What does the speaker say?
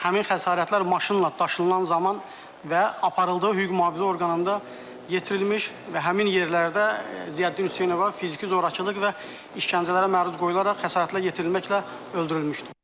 həmin xəsarətlər maşınla daşınan zaman və aparıldığı hüquq mühafizə orqanında yetirilmiş və həmin yerlərdə Ziyəddin Hüseynova fiziki zorakılıq və işgəncələrə məruz qoyularaq xəsarətlər yetirilməklə öldürülmüşdür.